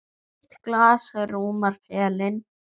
Eitt glas rúmar pelinn.